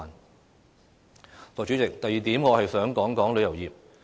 代理主席，第二點我想談談旅遊業。